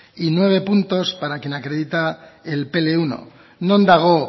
y nueve puntos para quien acredita el pe ele uno non dago